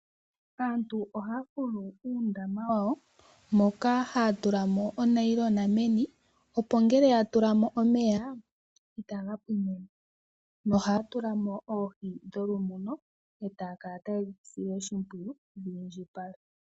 Aantu ohaya fulu uudama wawo, moka haya tula mo uunayilona meni, opo ngela ya tula mo omeya, itaga pwine mo, no haya tulamo oohi dho lumuno, etaya kala taye dhisile oshimpwiyi dhi indjipale.